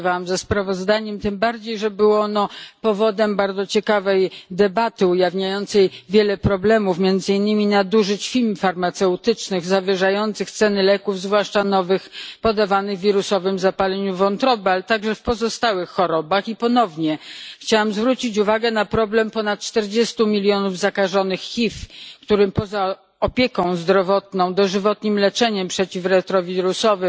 Głosowałam ze sprawozdaniem tym bardziej, że było ono powodem bardzo ciekawej debaty ujawniającej wiele problemów, między innymi nadużyć firm farmaceutycznych zawyżających ceny leków zwłaszcza nowych, podawanych przy wirusowym zapaleniu wątroby, ale także w pozostałych chorobach. I ponownie chciałam zwrócić uwagę na problem ponad 40 milionów zakażonych HIV, którym poza opieką zdrowotną, dożywotnim leczeniem przeciw retrowirusom,